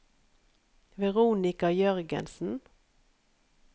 Veronica Jørgensen